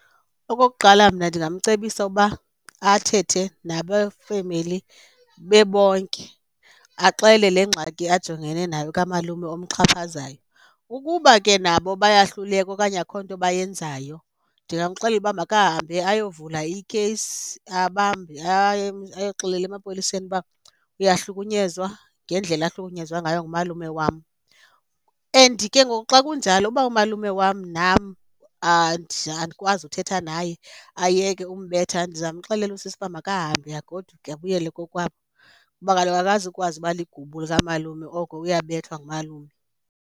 Okokuqala, mna ndingamcebisa ukuba athethe nabefemeli bebonke axele le ngxaki ajongene nayo kamalume omxhaphazayo. Ukuba ke nabo bayahluleka okanye akho nto bayenzayo ndingamxelela uba makahambe ayovula ikheyisi babambe, ayoxelela emapoliseni uba uyahlukunyezwa ngendlela ahlukunyezwa ngayo ngumalume wam. And ke ngoku xa kunjalo uba umalume wam nam andikwazi uthetha naye ayeke ukumbetha, ndizamxelela usisi uba makahambe agoduke abuyele kokwabo, kuba kaloku akazukwazi uba ligubu likamalume oko uyabethwa ngumalume.